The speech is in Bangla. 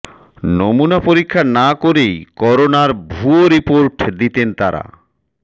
নমুনা পরীক্ষা না করেই করোনার ভুয়া রিপোর্ট দিতেন তারা